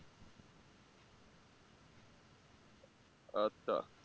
আচ্ছা